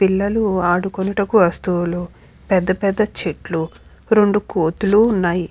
పిల్లలు ఆడుకొనుటకు వస్తువులు పెద్ద పెద్ద చెట్లు రెండు కోతులు ఉన్నాయి.